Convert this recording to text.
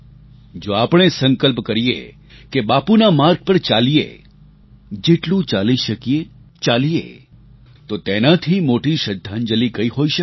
જો આપણે સંકલ્પ કરીએ કે બાપુના માર્ગ પર ચાલીએ જેટલું ચાલી શકીએ ચાલીએ તો તેનાથી મોટી શ્રદ્ધાંજલિ કઈ હોઈ શકે છે